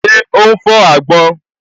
Ṣé ó ún fọ́ àgbọn?